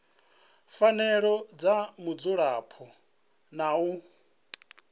fhelelaho dza mudzulapo na u